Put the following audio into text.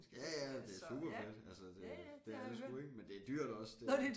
Ja ja det er superfedt altså det det er det sgu ik men det er dyrt også